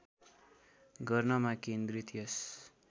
गर्नमा केन्द्रित यस